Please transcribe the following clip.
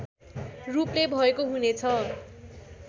रूपले भएको हुनेछ